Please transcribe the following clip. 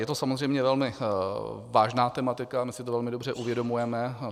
Je to samozřejmě velmi vážná tematika, my si to velmi dobře uvědomujeme.